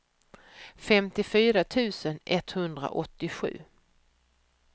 femtiofyra tusen etthundraåttiosju